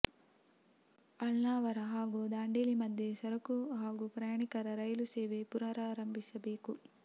ಅಳ್ನಾವರ ಹಾಗೂ ದಾಂಡೇಲಿ ಮಧ್ಯೆ ಸರಕು ಹಾಗೂ ಪ್ರಯಾಣಿಕರ ರೈಲು ಸೇವೆ ಪುನರಾರಂಭಿಸಬೇಕು